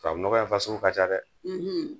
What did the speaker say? Tubabu nɔgɔya fasugu ka ca dɛ!